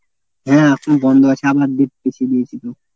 হ্যাঁ এখন বন্ধ আছে আবার date পিছিয়ে দিয়েছি তো।